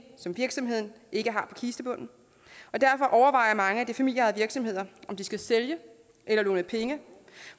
som virksomheden ikke har på kistebunden og derfor overvejer mange af de familieejede virksomheder om de skal sælge eller låne penge